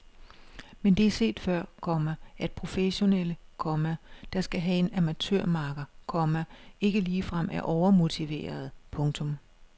Men det er før set, komma at professionelle, komma der skal have en amatørmakker, komma ikke ligefrem er overmotiverede. punktum